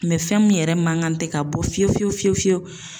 fɛn min yɛrɛ man kan tɛ ka bɔ fiyewu fiyewu fiyewu fiyewu.